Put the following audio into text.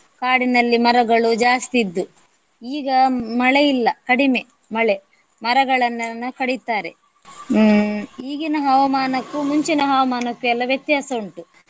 ಕಾಡಿನಲ್ಲಿ ಮರಗಳು ಜಾಸ್ತಿ ಇದ್ದು. ಈಗ ಮಳೆಯಿಲ್ಲ ಕಡಿಮೆ ಮಳೆ ಮರಗಳನ್ನೆಲ್ಲ ಕಡಿಯುತ್ತಾರೆ. ಹ್ಮ್ ಈಗಿನ ಹವಾಮಾನಕ್ಕು ಮುಂಚಿನ ಹವಾಮಾನಕ್ಕು ಎಲ್ಲ ವ್ಯತ್ಯಾಸ ಉಂಟು.